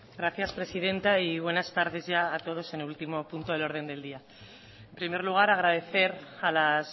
gracias presidenta y buenas tardes ya a todos en el último punto del orden del día en primer lugar agradecer a las